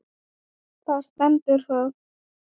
Þar stendur það.